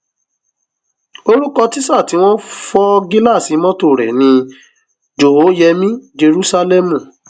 orúkọ tísà tí wọn fọ gíláàsì mọtò rẹ ni jòhóyẹmí jerúsálẹmù